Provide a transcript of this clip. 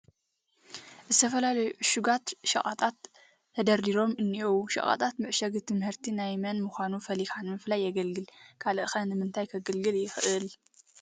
ዝተፈላለዩ ዕሹጋት ሸቐጣት ተደርዲሮም እኔዉ፡፡ ሸቐጣት ምዕሻግ እቲ ምህርቲ ናይ መን ምዃኑ ፈሊኻ ንምፍላይ የገልግል፡፡ ካልእ ኸ ንምንታይ ከገልግል ይኽእል?